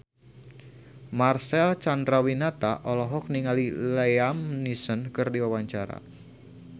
Marcel Chandrawinata olohok ningali Liam Neeson keur diwawancara